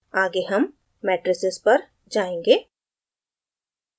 आगे हम matrices पर जायेंगे